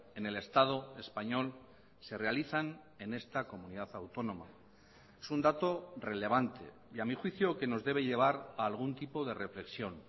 en el estado español se realizan en esta comunidad autónoma es un dato relevante y a mi juicio que nos debe llevar a algún tipo de reflexión